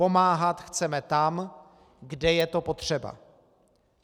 Pomáhat chceme tam, kde je to potřeba.